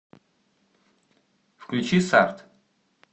включи сард